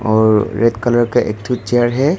और red colour का एक ठो चेयर है।